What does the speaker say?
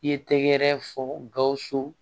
I ye tɛgɛrɛ fɔ gawusu